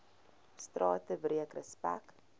strate breek respek